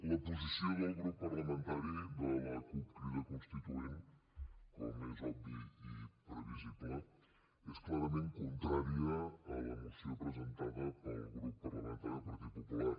la posició del grup parlamentari de la cup crida constituent com és obvi i previsible és clarament contrària a la moció presentada pel grup parlamentari del partit popular